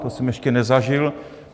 To jsem ještě nezažil.